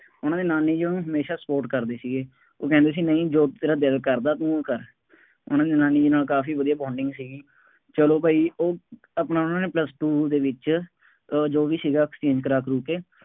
ਉਹਨਾ ਦੇ ਨਾਨੀ ਜੀ ਉਹਨਾ ਨੂੰ ਹਮੇਸ਼ਾ support ਕਰਦੇ ਸੀਗੇ, ਉਹ ਕਹਿੰਦੇ ਸੀ ਨਹੀਂ ਜੋ ਤੇਰਾ ਦਿਲ ਕਰਦਾ ਤੂੰ ਉਹ ਕਰ, ਉਹਨਾ ਦੀ ਨਾਨੀ ਨਾਲ ਕਾਫੀ ਵਧੀਆਂ bonding ਸੀਗੀ, ਚੱਲੋ ਭਾਈ ਉਹ ਆਪਣਾ ਉਹਨਾ ਨੇ plus two ਦੇ ਵਿੱਚ ਅਹ ਜੋ ਵੀ ਸੀਗਾ, exchange ਕਰਾ ਕੂ ਕੇ,